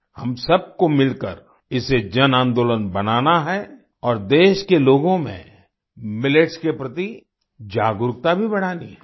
हम सबको मिलकर इसे जनआंदोलन बनाना है और देश के लोगों में मिलेट्स के प्रति जागरूकता भी बढ़ानी है